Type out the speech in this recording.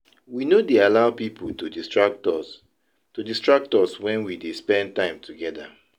We no dey allow pipu to distract us to distract us wen we dey spend time togeda.